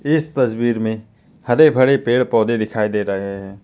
इस तस्वीर में हरे भरे पेड़ पौधे दिखाई दे रहे हैं।